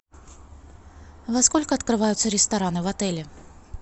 во сколько открываются рестораны в отеле